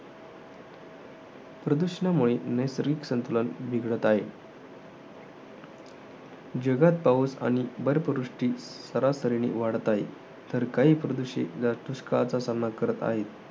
प्रदूषणामुळे नैसर्गिक संतुलन बिघडत आहे. जगात पाउस आणि बर्फवृष्टी सरासरीने वाढत आहे. तर काही प्रदेश हे दुष्काळाचा सामना करत आहे.